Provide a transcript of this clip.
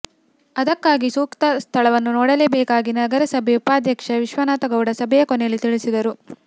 ಅದಕ್ಕಾಗಿ ಸೂಕ್ತ ಸ್ಥಳವನ್ನು ನೋಡಬೇಕಾಗಿ ನಗರಸಭೆ ಉಪಾಧ್ಯಕ್ಷ ವಿಶ್ವನಾಥ ಗೌಡ ಸಭೆಯ ಕೊನೆಯಲ್ಲಿ ತಿಳಿಸಿದರು